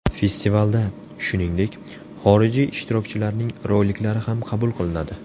Festivalda, shuningdek, xorijiy ishtirokchilarning roliklari ham qabul qilinadi.